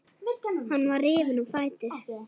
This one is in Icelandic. Hann var rifinn á fætur.